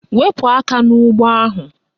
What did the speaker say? Wepu aka n'ụgbọ ahụ!